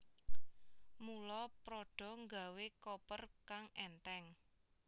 Mula Prada gawé koper kang enteng